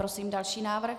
Prosím další návrh.